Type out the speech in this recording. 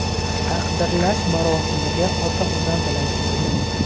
Taqdirlash marosimiga ota-onam bilan keldim.